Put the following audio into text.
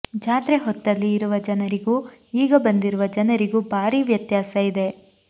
ಜಾತ್ರೆ ಹೊತ್ತಲ್ಲಿ ಇರುವ ಜನರಿಗೂ ಈಗ ಬಂದಿರುವ ಜನರಿಗೂ ಭಾರೀ ವ್ಯತ್ಯಾಸ ಇದೆ